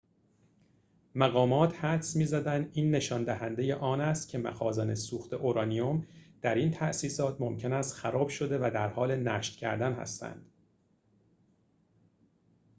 مقامات حدس می‌زنند این نشان دهنده آن است که مخازن سوخت اورانیم در این تاسیسات ممکن است خراب شده و در حال نشت کردن هستند